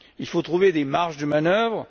Il faut trouver des marges de manœuvre.